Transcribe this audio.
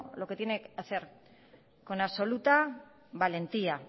lo que tiene que hacer con absoluta valentía